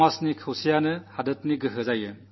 സമൂഹത്തിന്റെ ഐക്യമാണ് നാടിന്റെ ശക്തി